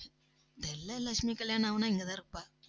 லட்சுமி கல்யாணம் ஆனா, இங்கதான் இருப்பா